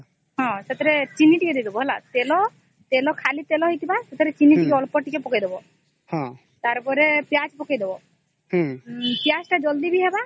ହଁ ସେଥିରେ ଚିନି ଟିକେ ଦେଇ ଦବ ତେଲ ଖାଲି ତେଲ ସେଥିରେ ଚିନି ଟିକେ ଅଳ୍ପ ପକେଇ ଦବ ତାର ପରେ ପିଆଜ ପକେଇ ଦବ ପିଆଜ ଜଲ୍ଦି ବି ହେବ